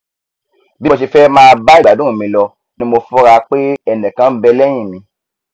bí mo ṣe fẹ máà bá ìgbádùn mi lọ ni mo fura pé ẹnìkan nbẹ lẹhìn mi